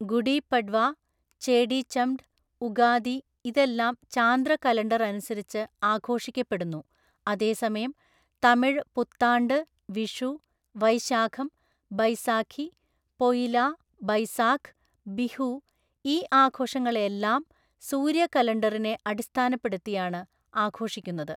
ഗുഡി പഡ് വാ, ചേടിചംഡ്, ഉഗാദി ഇതെല്ലാം ചാന്ദ്ര കലണ്ടറനുസരിച്ച് ആഘോഷിക്കപ്പെടുന്നു, അതേസമയം തമിഴ് പുത്താണ്ട്, വിഷു, വൈശാഖം, ബൈസാഖി, പൊഇലാ ബൈസാഖ്, ബിഹു ഈ ആഘോഷങ്ങളെല്ലാം സൂര്യകലണ്ടറിനെ അടിസ്ഥാനപ്പെടുത്തിയാണ് ആഘോഷിക്കുന്നത്.